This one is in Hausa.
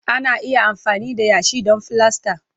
Ana iya amfani da yashi don filasta.